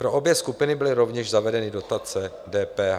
Pro obě skupiny byly rovněž zavedeny dotace DPH.